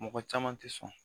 Mɔgɔ caman tɛ sɔn